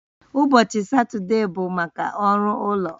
Ụbọchị Satọde bụ maka ọrụ ụlọ